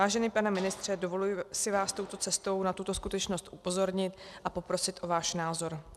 Vážený pane ministře, dovoluji si vás touto cestou na tuto skutečnost upozornit a poprosit o váš názor.